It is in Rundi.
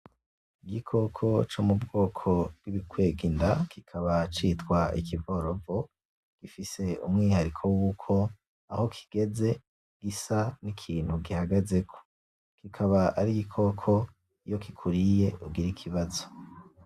Igikoko co mubwoko bwibikwega inda kikaba citwa ikivorovo gifise umwihariko wuko aho kigeze gisa nikintu gihagazeko kikaba ari igikoko iyo kikuriye ugira ikibazo.